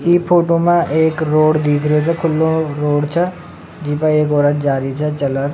ई फोटो में एक रोड दीख रहो छ खुल्ला रोड छ जीपे एक औरत जा रही छ चल र।